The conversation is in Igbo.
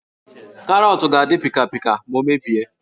Karọọtụ ga-adị pịkapịka ma o mebie